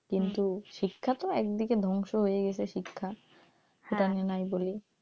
কিন্তু শিক্ষা তো এক দিকে ধ্বংস হয়েই গেসে শিক্ষা এটা আমি নাই বলি,